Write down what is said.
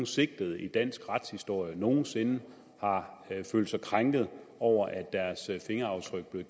sigtet i dansk retshistorie nogen sinde har følt sig krænket over at fingeraftrykkene